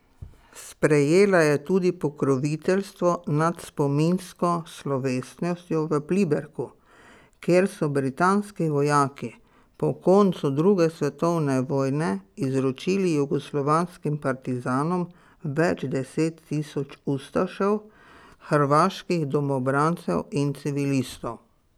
Sprejela je tudi pokroviteljstvo nad spominsko slovesnostjo v Pliberku, kjer so britanski vojaki po koncu druge svetovne vojne izročili jugoslovanskim partizanom več deset tisoč ustašev, hrvaških domobrancev in civilistov.